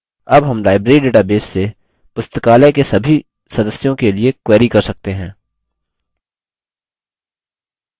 अब हम library database से पुस्तकालय के सभी सदस्यों के लिए query कर सकते हैं